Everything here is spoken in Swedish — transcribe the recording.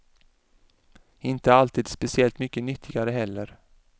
Inte alltid speciellt mycket nyttigare heller.